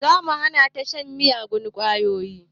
Za mu hana ta shan miyagun ƙwayoyi